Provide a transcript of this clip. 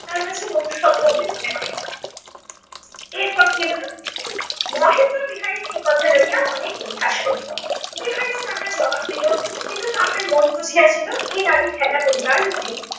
তার কাছে মনুষত্ব বলে মনে হয়নি। এরপর কী হলো, মহেন্দ্র বিহারীকে এ কথা লইয়া অনেক পরিহাস করিল। বিহারীও তাহার জবাব দিলো কিন্তু তার মন বুঝিয়াছিলো এই নারী খেলা করিবার নহে।